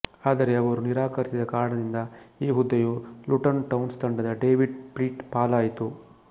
ಆದರೆ ಅವರು ನಿರಾಕರಿಸಿದ ಕಾರಣದಿಂದ ಈ ಹುದ್ದೆಯು ಲುಟನ್ ಟೌನ್ಸ್ ತಂಡದ ಡೇವಿಡ್ ಪ್ಲೀಟ್ ಪಾಲಾಯಿತು